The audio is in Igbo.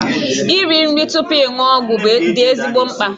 Iri nri tupu ịṅụ ọgwụ dị ezigbo mkpa.